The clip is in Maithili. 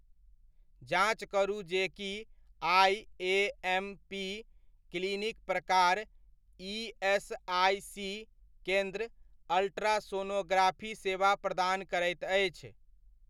जाँच करू जे की आइएमपी क्लिनिक प्रकार ईएसआइसी केन्द्र अल्ट्रासोनोग्राफी सेवा प्रदान करैत अछि?